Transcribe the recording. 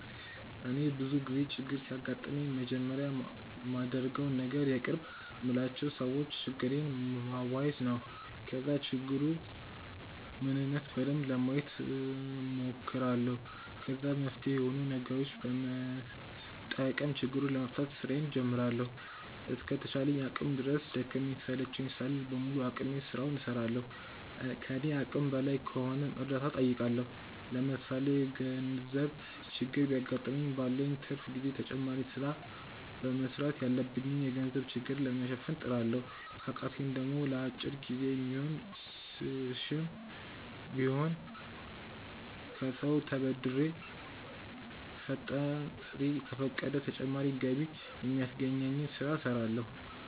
እኔ ብዙ ጊዜ ችግር ሲያጋጥመኝ መጀመሪያ ማደርገው ነገር የቅርብ የምላቸው ሰዎች ችግሬን ማዋየት ነው። ከዛ የችግሩን ምንነት በደንብ ለማየት ሞክራለሁ። ከዛ መፍትሄ ሚሆኑ ነገሮችን በመጠቀም ችግሩን ለመፍታት ስራዬን ጀምራለሁ። እስከ ተቻለኝ አቅም ድረስ ደከመኝ ሰለቸኝ ሳልል በሙሉ አቅሜ ስራውን እስራለሁ። ከኔ አቅም በላይ ከሆነም እርዳታ ጠይቃለሁ። ለምሳሌ የገርዘብ ችግር ቢያገጥመኝ ባለኝ ትርፍ ጊዜ ተጨማሪ ስራ በመስራት ያለብኝን የገንዘብ ችግር ለመሸፈን እጥራለሁ። ከቃተኝ ደሞ ለአጭር ጊዜ የሚሆን ስሽም ቢሆን ከሰው ተበድሬ ፈጣሪ ከፈቀደ ተጨማሪ ገቢ ሚያስገኘኝን ስለ እስራለሁ።